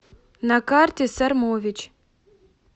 на карте сормович